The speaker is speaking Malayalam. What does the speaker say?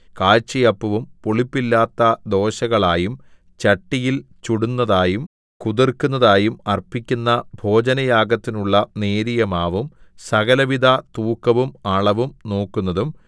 കാഴ്ചയപ്പവും പുളിപ്പില്ലാത്ത ദോശകളായും ചട്ടിയിൽ ചുടുന്നതായും കുതിർക്കുന്നതായും അർപ്പിക്കുന്ന ഭോജനയാഗത്തിനുള്ള നേരിയമാവും സകലവിധ തൂക്കവും അളവും നോക്കുന്നതും